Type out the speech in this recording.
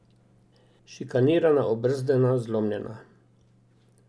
Šikanirana, obrzdana, zlomljena.